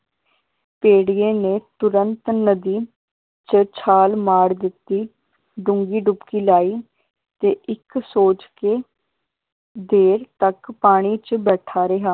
ਭੇੜੀਏ ਨੇ ਤੁਰੰਤ ਨਦੀ ਚ ਛਾਲ ਮਾਰ ਦਿੱਤੀ ਡੂੰਘੀ ਡੁਬਕੀ ਲਾਈ ਤੇ ਇਕ ਸੋਚ ਕੇ ਦੇਰ ਤੱਕ ਪਾਣੀ ਚ ਬੈਠਾ ਰਿਹਾ।